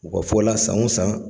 U ka fɔ la san o san